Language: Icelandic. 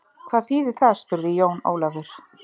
Hvað þýðir það spurði Jón Ólafur.